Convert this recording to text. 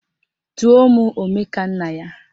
Tụọ mụ Omekannaya!